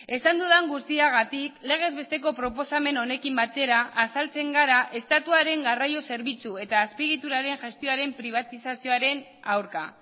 esan dudan guztiagatik legez besteko proposamen honekin batera azaltzen gara estatuaren garraio zerbitzu eta azpiegituraren gestioaren pribatizazioaren aurka